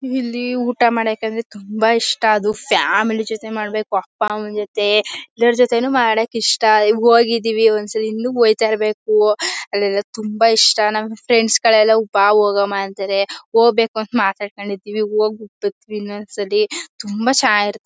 ಇಲ್ಲಿ ಊಟ ಮಾಡೋಕು ಅಂದ್ರೆ ತುಂಬಾ ಇಷ್ಟ ಅದು ಫ್ಯಾಮಿಲಿ ಜತೆ ಮಾಡಬೇಕು ಅಪ್ಪ ಅಮ್ಮನ ಜತೆ ಎಲ್ಲರ ಜೊತೆ ಮಾಡಕೂ ಇಷ್ಟ ಈಗ ಹೋಗಿದೀವಿ ಒಂದು ಸರಿ ಇನ್ನೂ ಹೋಯ್ತ ಇರ್ಬೇಕು ಅಲ್ಲೆಲ್ಲ ತುಂಬಾ ಇಷ್ಟ ನಮ್ ಫ್ರೆಂಡ್ಸ್ ಗಳೆಲ್ಲ ಬಾ ಹೋಗುಮ ಅಂತಾರೆ ಹೋಗ್ಬೇಕು ಅಂತ ಮಾತಾಡ್ಕೊಂಡು ಇರ್ತೀವಿ ಹೋಗ್ಬೇಕು ಹೋಗ್ಬಿಟ್ಟು ಬರ್ತೀವಿ ಇನ್ನೊಂದು ಸಲಿ ತುಂಬಾ ಚೆನ್ನಾಗಿ--